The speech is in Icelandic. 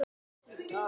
Ég passa mig, mamma.